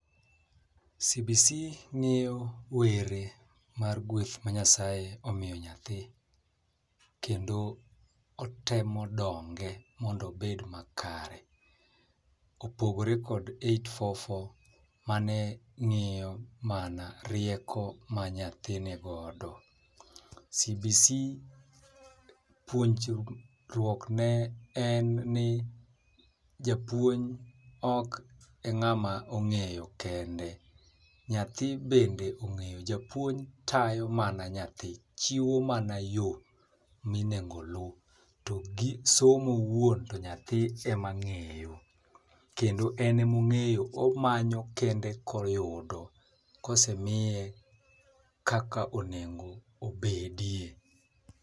CBC ng'iyo were mar gweth ma Nyasaye omiyo nyathi kendo kotemo donge mondo obed makare . Kopogore kod eight four four mane ng'iyo mana rieko ma nyathi ni godo, CBC puonjruok ne japuonj ok e ng'ama ong'eyo kendo nyathi bende ong'eyo japuonj tayo mana nyathi chiwo mana yoo minego oluw, to gi somo owuon to nyathi emong'eyo kendo en emong'eyo omanyo kende oyudo kosemiye kaka onego obedie .